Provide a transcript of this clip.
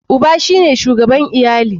Uba shine shugaban iyali.